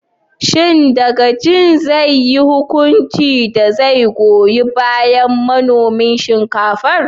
Shin dagacin zai yi hukunci da zai goyon bayan manomin shinkafar?